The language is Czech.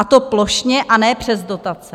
A to plošně, a ne přes dotace."